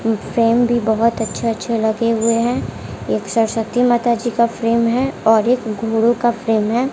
उम्म frame भी बहुत अच्छे अच्छे लगे हुए हैं एक सरस्वती माता जी का फ्रेम है और एक घोड़ों का फ्रेम है।